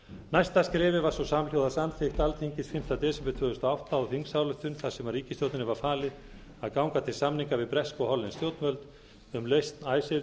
næsta skrefið var svo samhljóða samþykkt alþingis fimmta desember tvö þúsund og átta á þingsályktun þar sem ríkisstjórninni var falið að ganga til samninga við bresk og hollensk stjórnvöld um lausn